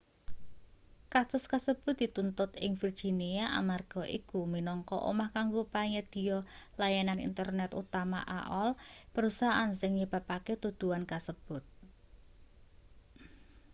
kasus kasebut dituntut ing virginia amarga iku minangka omah kanggo panyedhiya layanan internet utama aol perusahaan sing nyebabake tuduhan kasebut